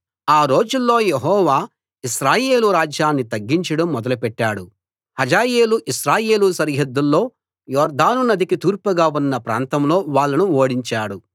ఆ రోజుల్లో యెహోవా ఇశ్రాయేలు రాజ్యాన్ని తగ్గించడం మొదలుపెట్టాడు హజాయేలు ఇశ్రాయేలు సరిహద్దుల్లో యొర్దాను నదికి తూర్పుగా ఉన్న ప్రాంతంలో వాళ్ళను ఓడించాడు